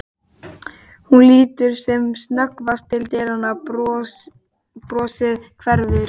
Hún lítur sem snöggvast til dyranna, brosið hverfur.